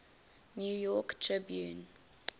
new york tribune